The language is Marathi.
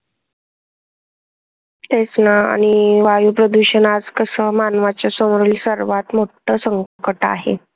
तेच ना आणि वायू प्रदूषण आज कस मानवाच्या समोरील सर्वात मोठ्ठ संकट आहे.